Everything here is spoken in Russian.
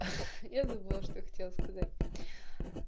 эх я забыла что хотела сказать